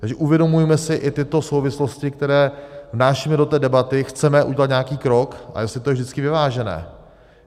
Takže uvědomujme si i tyto souvislosti, které vnášíme do té debaty, chceme udělat nějaký krok, a jestli je to vždycky vyvážené.